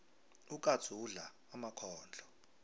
ukatsu udla emakhondlo